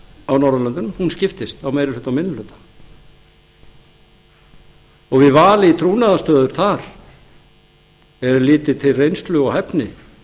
á norðurlöndum skiptist á meiri hluta og minni hluta og við val í trúnaðarstöður þar er litið til reynslu og hæfni